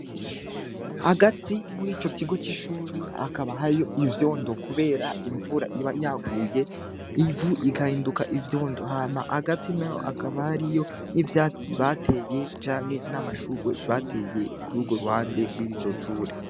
Hagati muri ico kigo c'ishure hakaba hariyo ivyondo kubera imvura iba yaguye, ivu rigahinduka ivyondo. Hama hagati naho hakaba hariyo ivyatsi bateye canke n'amashurwe bateye kuri urwo ruhande rw'iryo shure.